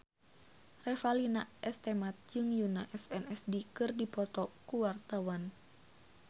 Revalina S. Temat jeung Yoona SNSD keur dipoto ku wartawan